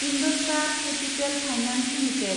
IndoStar Capital Finance limited